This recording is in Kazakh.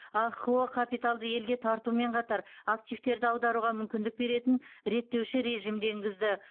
ахқо капиталды елге тартумен қатар активтерді аударуға мүмкіндік беретін реттеуші режимді енгізді